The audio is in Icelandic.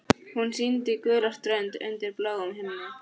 Hún sýndi gula strönd undir bláum himni.